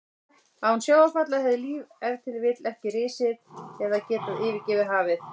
Án sjávarfalla hefði líf ef til vill ekki risið eða ekki getað yfirgefið hafið.